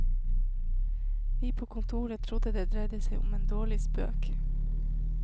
Vi på kontoret trodde det dreide seg om en dårlig spøk.